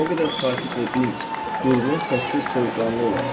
O qədər sakit və dinc, durğun, səssiz, soyuqqanlı olarsan.